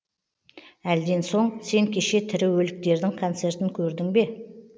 әлден соң сен кеше тірі өліктердің концертін көрдің бе